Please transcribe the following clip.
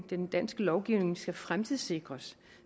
den danske lovgivning skal fremtidssikres